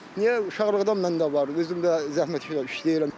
Niyə uşaqlıqdan məndə var, özümdə zəhmət işləyirəm.